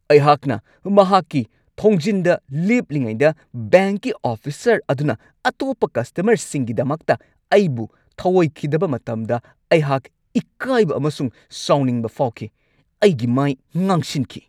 ꯑꯩꯍꯥꯛꯅ ꯃꯍꯥꯛꯀꯤ ꯊꯣꯡꯖꯤꯟꯗ ꯂꯦꯞꯂꯤꯉꯩꯗ ꯕꯦꯡꯛꯀꯤ ꯑꯣꯐꯤꯁꯔ ꯑꯗꯨꯅ ꯑꯇꯣꯞꯄ ꯀꯁꯇꯃꯔꯁꯤꯡꯒꯤꯗꯃꯛꯇ ꯑꯩꯕꯨ ꯊꯧꯑꯣꯏꯈꯤꯗꯕ ꯃꯇꯝꯗ ꯑꯩꯍꯥꯛ ꯏꯀꯥꯏꯕ ꯑꯃꯁꯨꯡ ꯁꯥꯎꯅꯤꯡꯕ ꯐꯥꯎꯈꯤ, ꯑꯩꯒꯤ ꯃꯥꯏ ꯉꯥꯡꯁꯤꯟꯈꯤ꯫